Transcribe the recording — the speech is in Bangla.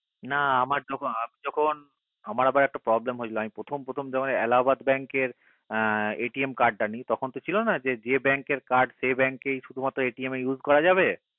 না আমার যখন আমি যখন আমার আবার একটু problem হয়েছিল আমি যখন প্রথম প্রথম যখন এলাহাবাদের bank এর CARD টা নেই তখন তো ছিল না যে যে bank এর card শুধু মাত্র সেই bank card এর শুধু মাত্র সেই CARD USE করা যাবে